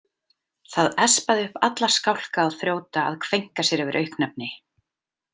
Það espaði upp alla skálka og þrjóta að kveinka sér yfir auknefni.